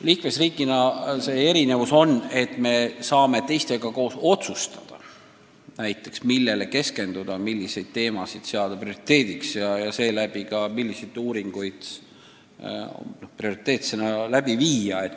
Liikmesriigi puhul on erinevus selles, et me saame koos teistega otsustada, millele keskenduda, millised teemad seada prioriteediks ja seega ka, millised uuringud prioriteetsena läbi viia.